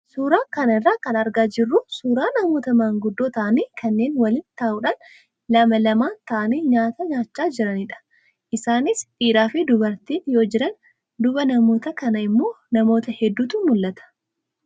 Suuraa kana irraa kan argaa jirru suuraa namoota maanguddoo ta'anii kanneen waliin ta'uudhaan lama lamaan taa'anii nyaata nyaachaa jiranidha. Isaanis dhiiraa fi dubartiin yoo jiran, duuba namoota kanaa immoo namoota hedduutu mul'ata.